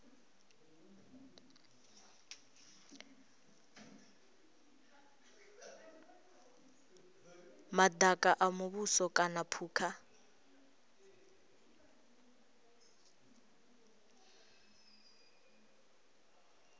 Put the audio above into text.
madaka a muvhuso kana phukha